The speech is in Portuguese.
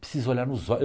Precisa olhar nos